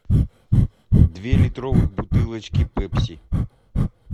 две литровых бутылочки пепси